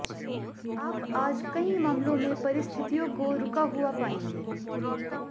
आप आज कई मामलों में परिस्थितियों को रुका हुआ पाएंगे